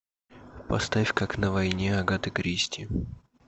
поставь как на войне агаты кристи